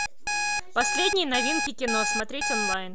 последние новинки кино смотреть онлайн